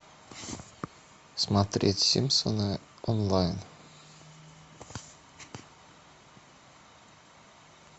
смотреть симпсоны онлайн